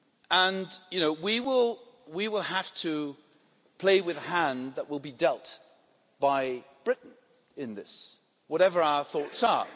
And we will have to play with the hand that will be dealt by Britain in this, whatever our thoughts are.